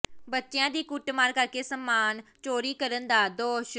ਬੱਚਿਆਂ ਦੀ ਕੁੱਟਮਾਰ ਕਰਕੇ ਸਾਮਾਨ ਚੋਰੀ ਕਰਨ ਦਾ ਦੋਸ਼